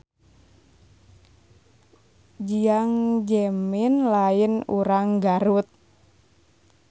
Jiang Zemin lain urang Garut